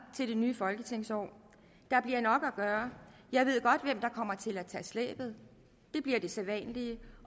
til det nye folketingsår der bliver nok at gøre jeg ved godt hvem der kommer til at tage slæbet det bliver de sædvanlige